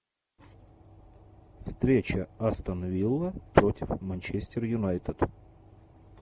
встреча астон вилла против манчестер юнайтед